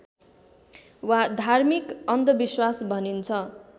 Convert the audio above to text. वा धार्मिक अन्धविश्वास भनिन्छ